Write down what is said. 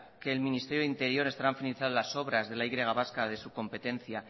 el ministerio de interior estarán finalizadas las obras de la y vasca de su competencia